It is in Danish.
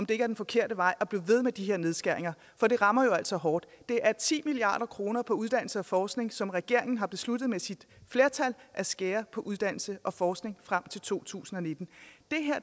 det er den forkerte vej at blive ved med de her nedskæringer for det rammer jo altså hårdt det er ti milliard kroner på uddannelse og forskning som regeringen har besluttet med sit flertal at skære på uddannelse og forskning frem til to tusind og nitten